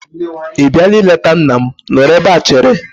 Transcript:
Ị bịara ịleta nna m? Nọrọ n'ebe chere!